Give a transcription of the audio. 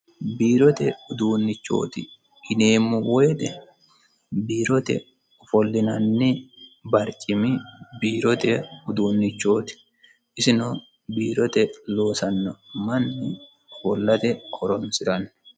biirote uduunnichooti yineemmo woyte biirote ofolinanni barcimi biirote uduunnichooti isino biirote loosanno manni ofollate horonsiranno